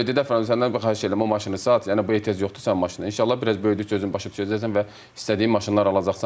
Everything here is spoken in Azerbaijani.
Həqiqətən böyük dedi Fərid, səndən bir xahiş edirəm, o maşını sat, yəni bu ehtiyac yoxdur sənə maşına, inşallah bir az böyüdükcə özün başa düşəcəksən və istədiyin maşınları alacaqsan.